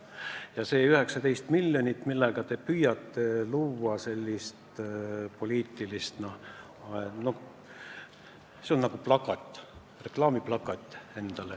Ja see 19 miljonit, millega te püüate poliitilist profiiti lõigata – noh, see on nagu reklaamplakat.